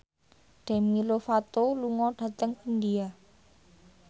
Demi Lovato lunga dhateng India